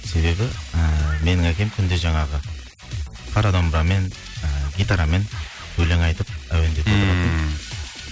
себебі ііі менің әкем күнде жаңағы қара домбрамен і гитарамен өлең айтып әуендеп ммм